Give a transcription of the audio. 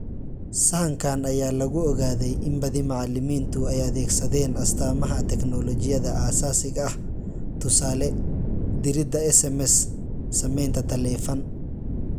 Sahankan ayaa lagu ogaaday in badi macalimiintu ay adeegsadeen astaamaha teknoolojiyadda aasaasiga ah (tusaale, dirida SMS, samaynta taleefan).